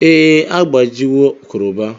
Ee, agbajiwo kroba.